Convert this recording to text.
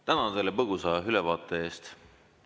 Tänan selle põgusa ülevaate eest!